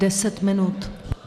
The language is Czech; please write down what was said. Deset minut.